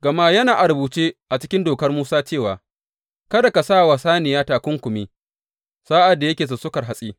Gama yana a rubuce a cikin Dokar Musa cewa, Kada ka sa wa saniya takunkumi sa’ad da yake sussukar hatsi.